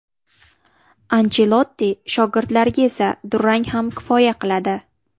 Anchelotti shogirdlariga esa durang ham kifoya qiladi.